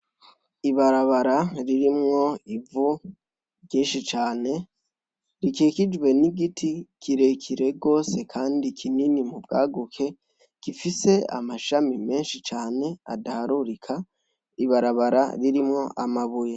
Ibarabara ririmwo ivu ryishi cane, rikikijwe n'igiti kirekire gose kandi kinini mubwaguke, gifise amashami menshi cane adaharurika, ibarabara ririmwo amabuye .